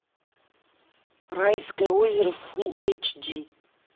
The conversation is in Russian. райское озеро фулл эйч ди